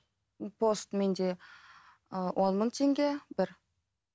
ы пост менде ыыы он мың теңге бір